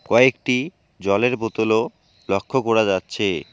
কয়েকটি জলের বোতল -ও লক্ষ করা যাচ্ছে।